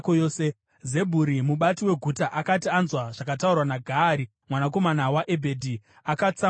Zebhuri mubati weguta akati anzwa zvakataurwa naGaari mwanakomana waEbhedhi, akatsamwa zvikuru.